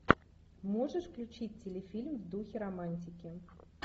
можешь включить телефильм в духе романтики